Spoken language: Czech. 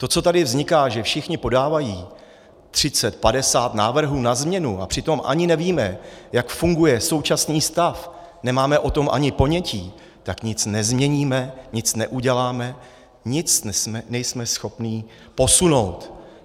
To, co tady vzniká, že všichni podávají třicet padesát návrhů na změnu, a přitom ani nevíme, jak funguje současný stav, nemáme o tom ani ponětí, tak nic nezměníme, nic neuděláme, nic nejsme schopni posunout.